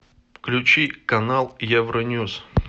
включи канал евроньюс